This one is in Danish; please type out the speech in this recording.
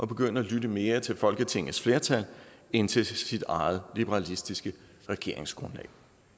begynde at lytte mere til folketingets flertal end til sit eget liberalistiske regeringsgrundlag